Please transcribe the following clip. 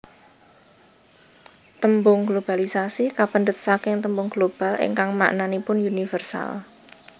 Tembung globalisasi kapendhet saking tembung global ingkang maknanipun universal